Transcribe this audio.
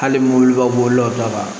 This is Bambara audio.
Hali mobiliba bolila u ta